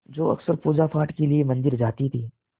जो अक्सर पूजापाठ के लिए मंदिर जाती थीं